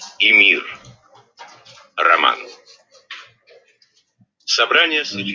и мир роман